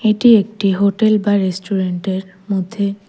এটি একটি হোটেল বা রেস্টুরেন্টের মধ্যে--